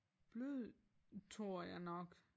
Blød tror jeg nok